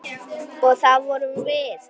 Og það vorum við.